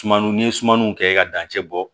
Sumaniw ni sumaniw kɛ i ka dancɛ bɔ